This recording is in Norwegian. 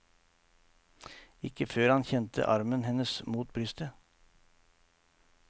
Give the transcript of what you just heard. Ikke før han kjente armen hennes mot brystet.